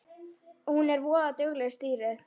Hún er voða dugleg, stýrið.